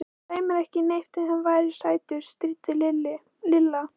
Þú dæir ekki neitt ef hann væri sætur. stríddi Lilla.